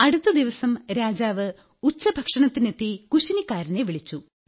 അടുത്ത ദിവസം രാജാവ് ഉച്ചഭക്ഷണത്തിനെത്തി കുശിനിക്കാരനെ വിളിച്ചു